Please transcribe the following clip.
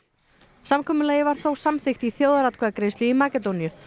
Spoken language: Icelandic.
samkomulagið var þó samþykkt í þjóðaratkvæðagreiðslu í Makedóníu